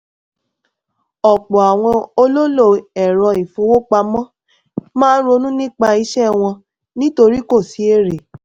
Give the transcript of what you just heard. ọ̀pọ̀ àwọn olólò ẹ̀rọ ìfowópamọ́ máa ronú nípa iṣẹ́ wọn nítorí kò sí èrè.